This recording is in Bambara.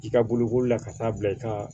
I ka bolokoli la ka taa bila i ka